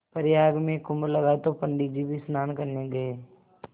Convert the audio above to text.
प्रयाग में कुम्भ लगा तो पंडित जी भी स्नान करने गये